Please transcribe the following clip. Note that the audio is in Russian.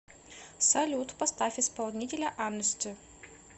салют поставь исполнителя анэсти